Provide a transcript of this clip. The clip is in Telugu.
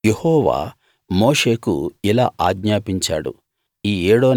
యెహోవా మోషేకు ఇలా ఆజ్ఞాపించాడు